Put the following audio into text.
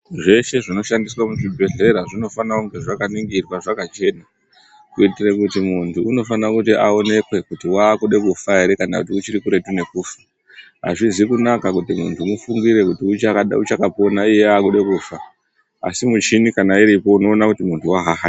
Zveshe zvinoshandiswe muzvibhedhlera zvinofanira kunge zvakaningirwa zvakachena kuitire kuti muntu unofanira kuti aonekwe kuti waakude kufa here kana kuti uchiri kuretu nekufa hazvizi kunaka kuti muntu mufungire kuti uchaka uchakapona asi iye akude kufa asi kana muchini uripo munoona kuti munhu wahaha.